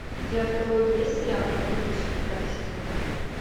у тебя в каталоге есть сериал компьютерщики пятый сезон